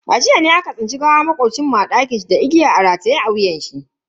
A jiya ne aka tsinci gawar makocin mu a dakinshi da igiya rataye a wuyanshi.